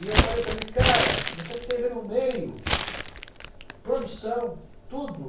E eu falei para ele, cara, você esteve no meio, produção, tudo.